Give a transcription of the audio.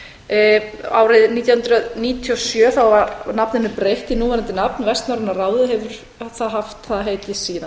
fimm árið nítján hundruð níutíu og sjö var nafninu breytt í núverandi nafn vestnorræna ráðið og hefur það haft það heiti síðan